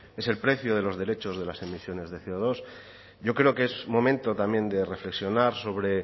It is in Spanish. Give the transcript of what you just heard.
es el precio de los derechos de las emisiones de ce o dos yo creo que es momento también de reflexionar sobre